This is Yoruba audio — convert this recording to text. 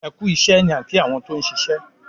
"ẹkú iṣé " ní a ki àwọn tí òun ṣiṣẹ.